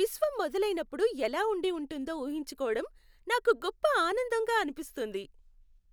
విశ్వం మొదలైనప్పుడు ఎలా ఉండి ఉంటుందో ఊహించుకోవడం నాకు గొప్ప ఆనందంగా అనిపిస్తుంది.